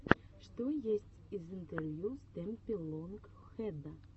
что есть из интервью стэмпи лонг хэда